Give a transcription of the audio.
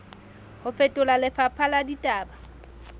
ho fetola lefapha la ditaba